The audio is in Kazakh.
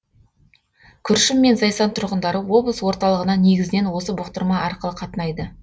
күршім мен зайсан тұрғындары облыс орталығына негізінен осы бұқтырма арқылы қатынайды